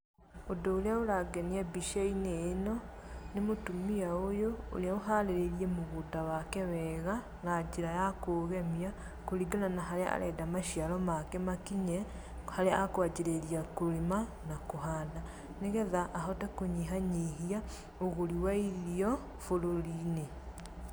Ũndũ ũrĩa ũrangenia mbica-inĩ ĩno, nĩ mũtumia ũyũ, ũrĩa ũharĩrĩirie mũgũnda wake wega, na njĩra ya kũũgemia, kũringana na harĩa arenda maciaro make makinye, harĩa a kwanjĩrĩria kũrĩma, na kũhanda. Nĩgetha ahote kũnyihanyihia ũgũri wa irio bũrũri-inĩ.